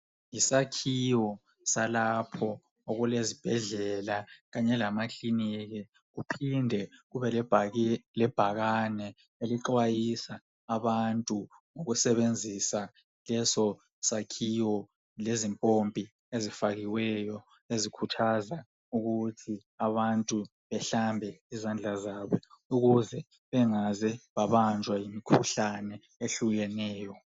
Yisakhiwo salapho okulezibhedlela Kanye lamakiliniki. Kuphinde kube lebhakane elixwayisa abantu ngokusebenzisa lesosakhiwo. Lezimpompi ezifakiweyo, ezikhumbuza abantu ukuthi bahlanze izandla ukuze bangabanjwa yimikhuhlane ehlukeneyo.